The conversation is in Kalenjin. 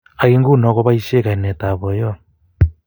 ak nguno kopoishei kainet ab boiyot